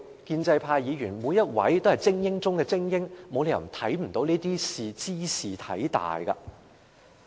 建制派每位議員都是精英中的精英，沒有理由看不出茲事體大。